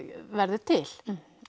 verður til